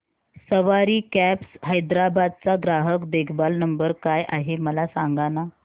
सवारी cabs Hyderabad चा ग्राहक देखभाल नंबर काय आहे मला सांगाना